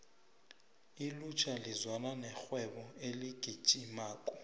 ilutjha lizwana nerhwebo eligijimako